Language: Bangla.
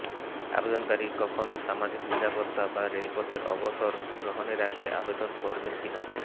আবেদনকারী কখনো সামাজিক নিরাপত্তা বা রেলপথের অবসর গ্রহণের আগে আবেদন করবেন কি না